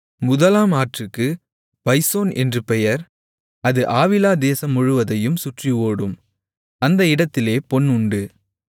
முதலாம் ஆற்றுக்கு பைசோன் என்று பெயர் அது ஆவிலா தேசம் முழுவதையும் சுற்றி ஓடும் அந்த இடத்திலே பொன் உண்டு